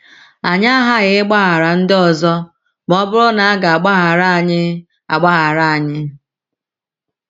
Anyị aghaghị ịgbaghara ndị ọzọ ma ọ bụrụ na a ga - agbaghara anyị - agbaghara anyị